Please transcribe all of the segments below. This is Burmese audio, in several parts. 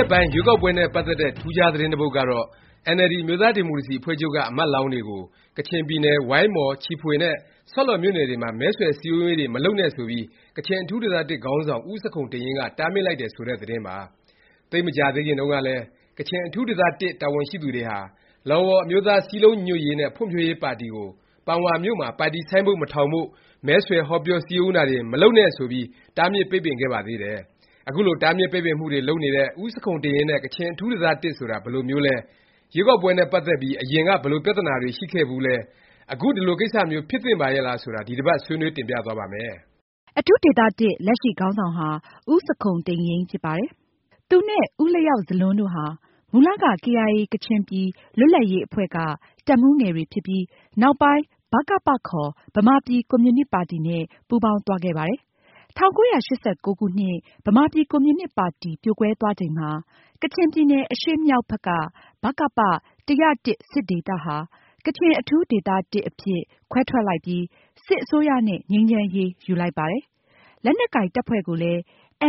က်ပိုင်း ရွေးကောက်ပွဲနဲ့ ပတ်သက်တဲ့ ထူးခြား သတင်းတစ်ပုဒ်ကတော့ အင်န်အယ်လ်ဒီ အမျိုးသားဒီမိုကရေစအဖွဲ့ချုပ် က အမတ်လောင်းတွေကို ကချင်ပြည်နယ် ဝိုင်းမော်၊ ချီဖွေ နဲ့ ဆော့လော် မြို့နယ်တွေမှာ မဲဆွယ် စည်းရုံးရေးတွေ မလုပ်ဖို့ ကချင်အထူးဒေသ (၁) ခေါင်းဆောင် ဦးဆခုံတိန့်ယိန်းက တားမြစ်လိုက်တယ် ဆိုတဲ့ သတင်းပါ။ သိပ်မကြာသေးခင်တုန်းကလည်း ကချင်အထူးဒေသ(၁) တာဝန်ရှိသူတွေဟာ လော်ဝေါ် အမျိုးသား စည်းလုံးညီညွတ်ရေးနဲ့ ဖွံ့ဖြိုးရေးပါတီ ကို ပန်ဝါမြို့မှာ ပါတီ ဆိုင်းဘုတ် မထောင်ဖို့၊ မဲဆွယ် ဟောပြော စည်းရုံးတာတွေ မလုပ်ဖို့ ဆိုပြီး တားမြစ် ပိတ်ပင်ခဲ့ပါသေးတယ်။ အခုလို တားမြစ်ပိတ်ပင်မှုတွေ လုပ်နေတဲ့ ဦးဆခုံတန့်ယိန်းနဲ့ ကချင်အထူးဒေသ (၁) ဆိုတာ ဘယ်လိုမျိုးလဲ၊ ရွေးကောက်ပွဲနဲ့ ပတ်သက်ပြီး အရင်က ဘယ်လို ပြသနာတွေ ရှိခဲ့ဖူးသလဲ၊ အခု ဒီလိုကိစ္စမျိုး ဖြစ်သင့်ပါရဲ့လား ဆိုတာ ဒီတစ်ပါတ် ဆွေးနွေးတင်ပြသွားပါ့မယ်။ အထူးဒေသ(၁) လက်ရှိ ခေါင်းဆောင်ဟာ ဦးဆခုံတိန့်ယိန်း ဖြစ်ပါတယ်။ သူနဲ့ ဦးလယောက်ဇလွန်း တို့ဟာ မူလက ကေအိုင်အေ ကချင်ပြည် လွတ်လပ်ရေးအဖွဲ့က တပ်မှူးငယ်တွေဖြစ်ပြီး နောက်ပိုင်း ဗကပ ခေါ် ဗမာပြည် ကွန်မြူနစ်ပါတီနဲ့ ပူးပေါင်းသွားခဲ့ပါတယ်။ ၁၉၈၉ ခုနှစ် ဗမာပြည်ကွန်မြူနစ်ပါတီ ပြိုကွဲသွားချိန်မှာ ကချင်ပြည်နယ် အရှေ့မြောက်ဘက်က ဗကပ ၁၀၁ စစ်ဒေသဟာ ကချင်အထူးဒေသ (၁) အဖြစ် ခွဲထွက်လိုက်ပြီး စစ်အစိုးရနဲ့ ငြိမ်းချမ်းရေး ယူလိုက်ပါတယ်။ လက်နက်ကိုင် တပ်ဖွဲ့ကိုလည်း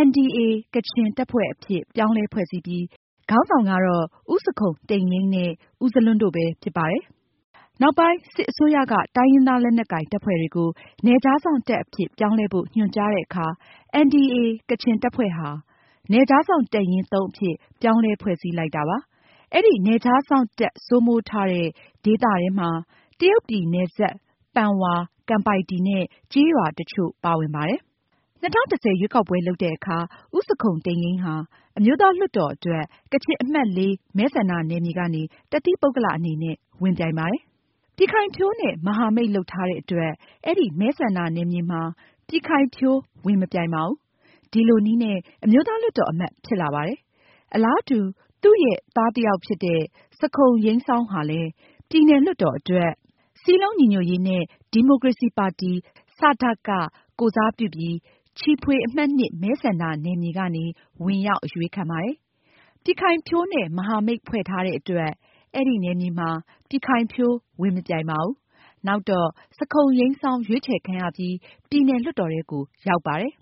NDA (Kachin) တပ်ဖွဲ့အဖြစ် ပြောင်းလဲ ဖွဲ့စည်းပြီး ခေါင်းဆောင်ကတော့ ဦးဆခုံတိန့်ယိန်းနဲ့ ဦးဇလွန်းပဲ ဖြစ်ပါတယ်။ နောက်ပိုင်း စစ်အစိုးရက တိုင်းရင်းသား လက်နက်ကိုင် တပ်ဖွဲ့တွေကို နယ်ခြားစောင့်တပ်အဖြစ် ပြောင်းလဲဖို့ ညွှန်ကြားတဲ့အခါ အင်န်ဒီအေ ကချင် တပ်ဖွဲ့ဟာ နယ်ခြားစောင့်တပ်ရင်း (၃) ရင်းအဖြစ် ပြောင်းလဲ ဖွဲ့စည်းလိုက်ပါတယ်။ အဲဒီ နယ်ခြားစောင့် တပ် စိုးမိုးထားတဲ့ ဒေသထဲမှာ တရုတ်ပြည်နယ်စပ် ပန်ဝါ၊ ကမ်ပိုင်တီနဲ့ ကျေးရွာ တစ်ချို့ပါဝင်ပါတယ်။ ၂၀၁၀ ရွေးကောက်ပွဲ လုပ်တဲ့အခါ ဦးဆခုံတိန့်ယိန်းဟာ အမျိုးသားလွှတ်တော် အတွက် ကချင်အမှတ် ၄ မဲဆန္ဒနယ်မြေကနေ တစ်သီးပုဂ္ဂလ အနေနဲ့ ဝင်ပြိုင်ပါတယ်။ ပြည်ခိုင်ဖြိုးနဲ့ မဟာမိတ် လုပ်ထားတဲ့အတွက် အဲဒီ မဲဆန္ဒနယ်မြေမှာ ပြည်ခိုင်ဖြိုး ဝင်မပြိုင်ပါဘူး။ ဒီလိုနည်းနဲ့ အမျိုးသားလွှတ်တော် အမတ် ဖြစ်လာပါတယ်။ အလားတူ သူ့ရဲ့ သားတစ်ယောက်ဖြစ်တဲ့ ဆခုံယိန်းဆောင်ဟာလည်း ပြည်နယ် လွှတ်တော် အတွက် စည်းလုံးညီညွတ်ရေးနဲ့ ဒီမိုကရေစီ ပါတီ (စဒက) ကနေ ချီဖွေ အမှတ်(၂) မဲဆန္ဒနယ်မြေကနေ ဝင်ရောက် အရွေးခံပါတယ်။ ပြည်ခိုင်ဖြိုးနဲ့ မဟာမိတ်ဖွဲ့ထားတဲ့အတွက် အဲဒီ နယ်မြေမှာ ပြည်ခိုင်ဖြိုး ဝင်မပြုင်ပါဘူး။ နောက်တော့ ဆခုံယိန်းဆောင် ရွေးချယ်ခံရပြီး ပြည်နယ် လွှတ်တော်ထဲကို ရောက်ပါတယ်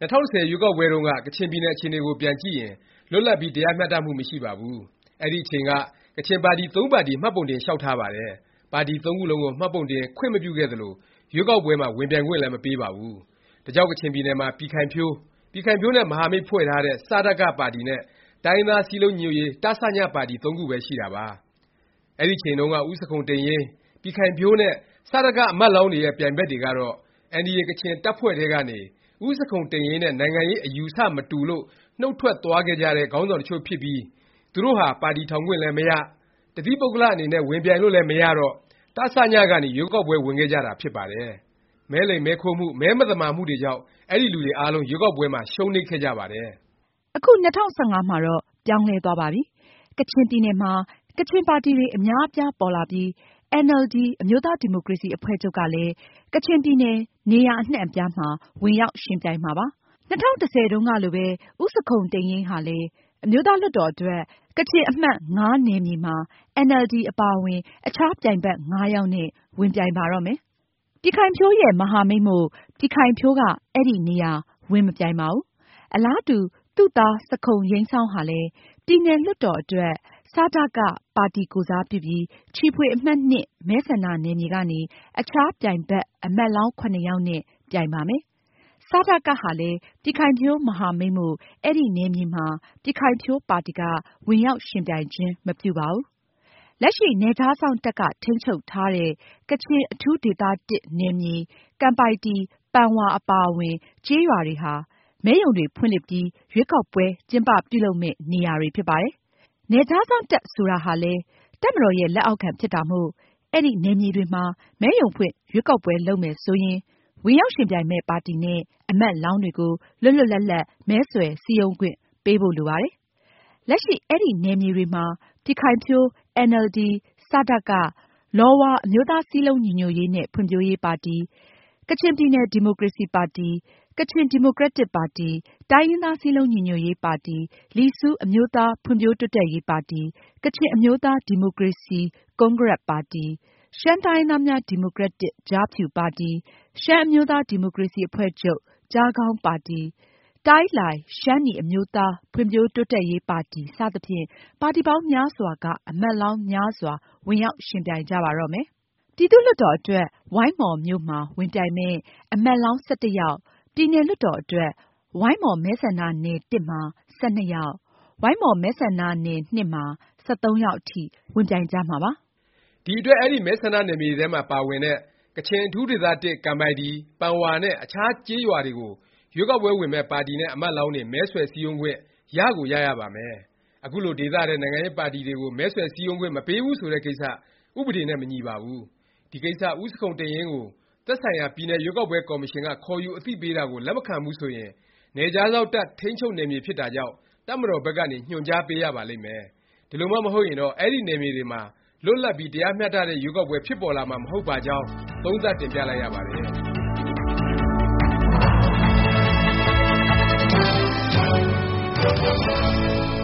။ ၂၀၁၀ ရွေးကောက်ပွဲတုန်းက ကချင်ပြည်နယ် အခြေအနေကို ပြန်ကြည့်ရင် လွတ်လပ်ပြီး တရားမျှတမှု မရှိပါဘူး။ အဲဒီ အချိန်က ကချင်ပါတီ (၃) ပါတီ မှတ်ပုံတင် လျောက်ထားပါတယ်။ ပါတီ(၃) ခုလုံးကို မှတ်ပုံတင် ခွင့်မပြုခဲ့သလို ရွေးကောက်ပွဲမှာ ဝင်ပြိုင်ခွင့်လည်း မပေးပါဘူး။ ဒါကြောင့် ကချင်ပြည်နယ်မှာ ပြည်ခိုင်ဖြိုး၊ ပြည်ခိုင်ဖြိုးနဲ့ မဟာမိတ် ဖွဲ့ထားတဲ့ စဒက ပါတီ နဲ့ တိုင်းရင်းသားစည်းလုံးညီညွတ်ရေး တစည ပါတီ သုံးခုပဲ ရှိတာပါ။ အဲဒီအချိန်တုန်းက ဦးဆခုံတိန့်ယိန်း၊ ပြည်ခိုင်ဖြိုးနဲ့ စဒက အမတ်လောင်းတွေရဲ့ ပြိုင်ဘက်တွေကတော့ အင်န်ဒီအေ ကချင် တပ်ဖွဲ့ထဲကနေ ဦးဆခုံတိန့်ယိန်းနဲ့ နိုင်ငံရေး အယူအဆ မတူလို့ နှုတ်ထွက်သွားခဲ့ကြတဲ့ ခေါင်းဆောင် တစ်ချို့ဖြစ်ပြီး သူတို့ဟာ ပါတီထောင်ခွင့်လည်း မရ၊ တစ်သီးပုဂ္ဂလ အနေနဲ့ ဝင်ပြိုင်လို့လည်း မရတော့ တစည ကနေ ရွေးကောက်ပွဲ ဝင်ခဲ့ကြတာ ဖြစ်ပါတယ်။ မဲလိမ်မဲခိုးမှု၊ မဲမသမာမှုတွေကြောင့် အဲဒီ လူတွေအားလုံး ရွေးကောက်ပွဲမှာ ရှုံးနိမ့်ခဲ့ကြပါတယ်။ အခု ၂၀၁၅ မှာတော့ ပြောင်းလဲသွားပါပြီ။ ကချင်ပြည်နယ်မှာ ကချင်ပါတီတွေ အများအပြား ပေါ်လာပြီး အင်န်အယ်လ်ဒီ အမျိုးသားဒီမိုကရေစီ အဖွဲ့ချုပ်ကလည်း ကချင်ပြည်နယ် နေရာအနှံ့အပြားမှာ ဝင်ရောက်ယှဉ်ပြိုင်ပါမယ်။ ၂၀၁၀ တုန်းကလိုပဲ ဦးဆခုံတိန့်ယိန်းဟာလည်း အမျိုးသားလွှတ်တော် အတွက် ကချင်အမှတ်(၅) နယ်မြေမှာ အင်န်အယ်လ်ဒီ အပါအဝင် အခြား ပြိုင်ဘက် ၅ ယောက်နဲ့ ဝင်ပြိုင်ပါတော့မယ်။ ပြည်ခိုင်ဖြိးရဲ့ မဟာမိတ်မို့ ပြည်ခိုင်ဖြိုးက အဲဒီနေရာ ဝင်မပြိုင်ပါဘူး။ အလားတူ သူ့သား ဆခုံယိန်းဆောင်ဟာလည်း ပြည်နယ် လွှတ်တော် အတွက် စဒက ပါတီ ကိုယ်စားပြုပြီး ချီဖွေအမှတ်(၂) မဲဆန္ဒနယ်မြေကနေ အခြား ပြိုင်ဘက် အမတ်လောင်း ၇ ယောက်နဲ့ ပြိုင်ပါမယ်။ စဒက ဟာလည်း ပြည်ခိုင်ဖြိုး မဟာမိတ်မို့ အဲဒီနယ်မြေမှာ ပြည်ခိုင်ဖြိုးပါတီက ဝင်ရောက်ယှဉ်ပြိုင်ခြင်း မပြုပါဘူး။ လက်ရှိ နယ်ခြားစောင့်တပ်က ထိန်းချုပ်ထားတဲ့ ကချင် အထူးဒေသ(၁) နယ်မြေ ကမ်ပိုင်တီ၊ ပန်ဝါအပါအဝင် ကျေးရွာတွေဟာ မဲရုံတွေ ဖွင့်လှစ်ပြီး ရွေးကောက်ပွဲ ကျင်းပပြုလုပ်မယ့် နေရာတွေဖြစ်ပါတယ်။ နယ်ခြားစောင့်တပ် ဆိုတာဟာလည်း တပ်မတော်ရဲ့ လက်အောက်ခံ ဖြစ်တာမို့ အဲဒီ နယ်မြေတွေမှာ မဲရုံဖွင့်၊ ရွေးကောက်ပွဲ လုပ်မယ် ဆိုရင် ဝင်ရောက် ယှဉ်ပြိုင်မယ့် ပါတီနဲ့ အမတ်လောင်းတွေကို လွတ်လွတ်လပ်လပ် မဲဆွယ် စည်းရုံးခွင့် ပေးဖို့ လိုပါတယ်။ လက်ရှိ အဲဒီ နယ်မြေတွေမှာ ပြည်ခိုင်ဖြိုး၊ အင်န်အယ်လ်ဒီ၊ စဒက၊ လော်ဝေါ်အမျိုးသားစည်းလုံးညီညွတ်ရေးနဲ့ ဖွံ့ဖြိုးရေးပါတီ၊ ကချင်ပြည်နယ် ဒီမိုကရေစီပါတီ၊ ကချင်ဒီမိုကရက်တစ်ပါတီ၊ တိုင်းရင်းသား စည်းလုံးညီညွတ်ရေးပါတီ၊ လီစူး အမျိုးသား ဖွံ့ဖြိုးတိုးတက်ရေးပါတီ၊ ကချင်အမျိုးသား ဒီမိုကရေစီ ကွန်ဂယက်ပါတီ၊ ရှမ်းတိုင်းရင်းသားများ ဒီမိုကရက်တစ် (ကျားဖြူု)ပါတီ ၊ ရှမ်းအမျိုးသားဒီမိုကရေစီအဖွဲ့ချုပ် (ကျားခေါင်း)ပါတီ၊ တိုင်းလိုင် (ရှမ်းနီ) အမျိုးသားဖွံ့ဖြိုးတိုးတက်ရေးပါတီ စသဖြင့် ပါတီပေါင်းများစွာက အမတ်လောင်း များစွာ ဝင်ရောက်ယှဉ်ပြိုင်ကြပါတော့မယ်။ ပြည်သူ့လွှတ်တော် အတွက် ဝိုင်းမော်မြို့မှာ ဝင်ပြိုင်မယ့် အမတ်လောင်း ၁၁ ယောက်၊ ပြည်နယ် လွှတ်တော် အတွက် ဝိုင်းမော်မဲဆန္ဒနယ်(၁) မှာ ၁၂ ယောက်၊ ဝိုင်းမော်မဲဆန္ဒနယ်(၂) မှာ ၁၃ ယောက်အထိ ဝင်ပြိုင်ကြမှာ ဖြစ်ပါတယ်။ ဒီအတွက် အဲဒီ မဲဆန္ဒနယ်မြေတွေထဲမှာ ပါဝင်တဲ့ ကချင်အထူးဒေသ (၁) ကမ်ပိုင်တီ၊ ပန်ဝါနဲ့ အခြား ကျေးရွာတွေကို ရွေးကောက်ပွဲဝင်မယ့် ပါတီနဲ့ အမတ်လောင်းတွေ မဲဆွယ် စည်းရုံးခွင့် ရကို ရရပါမယ်။ အခုလို ဒေသထဲ နိုင်ငံရေးပါတီတွေကို မဲဆွယ် စည်းရုံးခွင့် မပေးဘူး ဆိုတဲ့ ကိစ္စ ဥပဒေနဲ့ မညီပါဘူး။ ဒီကိစ္စ ဦးဆခုံတိန့်ယိန်းကို သက်ဆိုင်ရာ ပြည်နယ် ရွေးကောက်ပွဲ ကော်မရှင်က ခေါ်ယူ အသိပေးတာကို လက်မခံဘူးဆိုရင် နယ်ခြားစောင့် ထိန်းချုပ်နယ်မြေ ဖြစ်တာကြောင့် တပ်မတော် ဘက်ကနေ ညွှန်ကြားပေးရပါလိမ့်မယ်။ ဒီလိုမှ မဟုတ်ရင်တော့ အဲဒီနယ်မြေဒေသတွေမှာ လွတ်လပ်ပြီး တရားမျှတ တဲ့ ရွေးကောက်ပွဲ ဖြစ်ပေါ်လာမှာ မဟုတ်ပါကြောင်း သုံးသပ်တင်ပြလိုက်ရပါတယ်